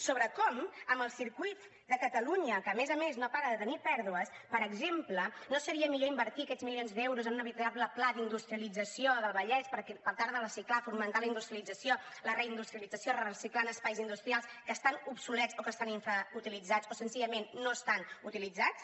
sobre com amb el circuit de catalunya que a més a més no para de tenir pèrdues per exemple no seria millor invertir aquests milions d’euros en un veritable pla d’industrialització del vallès per tal de reciclar fomentar la industrialització la reindustrialització reciclant espais industrials que estan obsolets o que estan infrautilitzats o senzillament no estan utilitzats